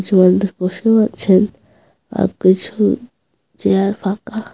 বসে আছেন আর কিছু চেয়ার ফাঁকা।